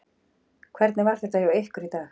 Hvernig var þetta hjá ykkur í dag?